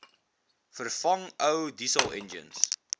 vervang ou dieselenjins